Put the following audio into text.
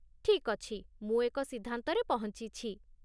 ଠିକ୍ ଅଛି, ମୁଁ ଏକ ସିଦ୍ଧାନ୍ତରେ ପହଞ୍ଚିଛି।